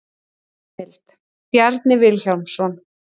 Heimild: Bjarni Vilhjálmsson.